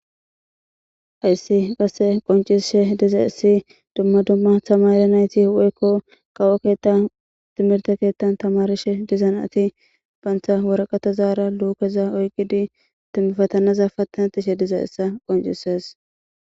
ayssi qasse qoncishe diza issi dumma dumma tamare nayti hweykko qawo keetta timirte keettan tamarishe dizan ati baantha woraqata zaara luukeza oykidi timmifatanaza pattanat ishe diza issa qoncises